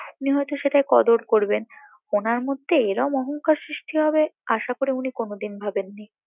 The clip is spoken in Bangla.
উনি হয়তো সেটা কদর করবেন উনার মধ্যে এরম অহংকার সৃষ্টি হবে আশা করি উনি কোনদিন ভাবেন নি